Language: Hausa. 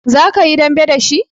Za ka yi dambe da shi?